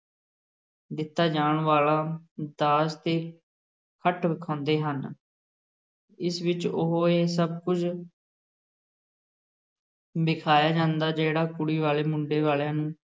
ਦਿੱਤਾ ਜਾਣ ਵਾਲਾ ਦਾਜ ਤੇ ਹਟ ਵਖਾਉਂਦੇ ਹਨ ਇਸ ਵਿਚ ਉਹ ਇਹ ਸਭ ਕੁਝ ਦਿਖਾਇਆ ਜਾਂਦਾ ਜਿਹੜਾ ਕੁੜੀ ਵਾਲੇ ਮੁੰਡੇ ਵਾਲਿਆਂ ਨੂੰ